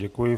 Děkuji.